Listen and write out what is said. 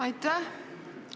Aitäh!